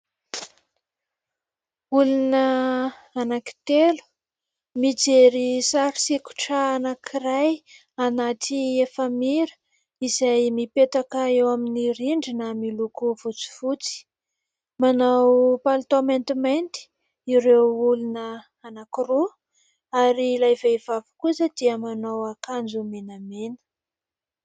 Olona anankitelo mijery sary sikotra anankiray anaty efamira izay mipetaka eo amin'ny rindrina miloko fotsifotsy. Manao palitao maintimainty ireo olona anankiroa ary ilay vehivavy kosa dia manao akanjo menamena.